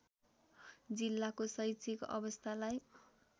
जिल्लाको शैक्षिक अवस्थालाई